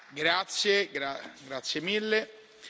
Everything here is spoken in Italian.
La discussione congiunta è chiusa.